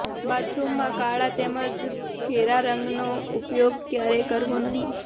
બાથરુમમાં કાળા તેમજ ઘેરા રંગનો ઉપયોગ ક્યારેય કરવો નહીં